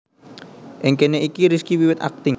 Ing kene iki Rizky wiwit akting